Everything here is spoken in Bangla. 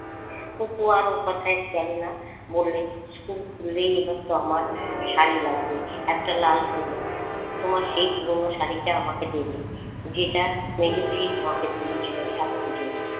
খুকু আর ও কোথায় গেল না, বললে school খুললেই এবার তো আমার শাড়ি লাগবে একটা লাল পেরে তোমার সেই পুরনো শাড়িটা আমাকে দেবে যেটা মেজখুড়ি তোমাকে দিয়েছিলো এক পুজোই।